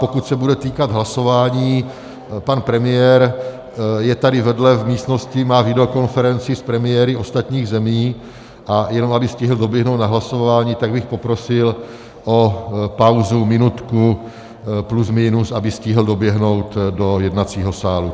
Pokud se bude týkat hlasování, pan premiér je tady vedle v místnosti, má videokonferenci s premiéry ostatních zemí, a jenom aby stihl doběhnout na hlasování, tak bych poprosil o pauzu minutku plus minus, aby stihl doběhnout do jednacího sálu.